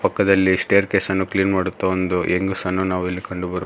ಪಕ್ಕದಲ್ಲಿ ಸ್ಟೇರ್ಕೇಸ್ ಅನ್ನು ಕ್ಲೀನ್ ಮಡುತ್ತಾ ಒಂದು ಹೆಂಗಸನ್ನು ನಾವು ಇಲ್ಲಿ ಕಂಡುಬರು--